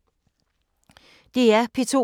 DR P2